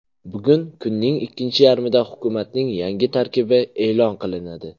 Bugun kunning ikkinchi yarmida hukumatning yangi tarkibi e’lon qilinadi.